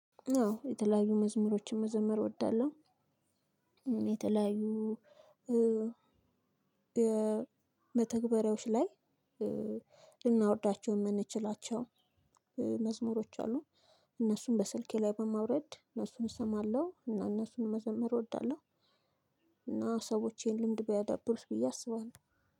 አዎ የተለያዩ መዝሙሮችን መዘመር እወዳለሁ። የተለያዩ መተግበሪያዎች ላይ ልናወርዳቸው የምንችላቸው መዝሙሮች አሉ። እነሱን በስልኬ ላይ በማውረድ እነሱን እሰማለሁ እና እነሱን መዘምር እወዳለሁ። እና ሰዎች ይሄን ልምድ ቢያዳብሩት ብዬ አስባለሁ